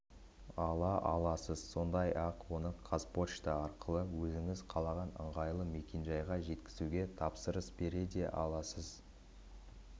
ала аласыз сондай-ақ оны қазпошта арқылы өзіңіз қалаған ыңғайлы мекенжайға жеткізуге тапсырыс бере де аласыз